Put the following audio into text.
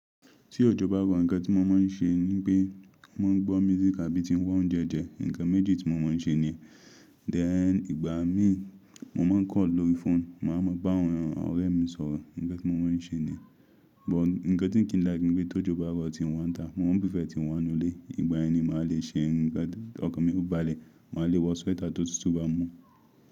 Tí òjò bá rọ, ǹkan tí mo máa ń ṣe ní pé mo ń gbọ́ music àbí ti ń wá oúnjẹ jẹ, ǹkan méjì tí mo máa ń ṣe ni. Dè ẹ́ ní ìgbà mí mo máa ń kọ̀ lórí fóònù, màá mọ bá àwọn ọ̀rẹ́ mi sọ̀rọ̀, ǹkan tí mo máa ń ṣe ni. But ǹkan tí n kí n like ní pé tó jò bá rọ̀ tí n wá ta, mo máa búfẹ́ tí n wá nù ilé. Ìgbà yẹn ni màá le ṣe ǹkan. Ọkọ̀ mi ó balẹ̀, màá le wọ sweater tó tútù bá mú.